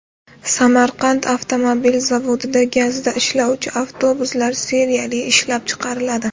Samarqand avtomobil zavodida gazda ishlovchi avtobuslar seriyali ishlab chiqariladi.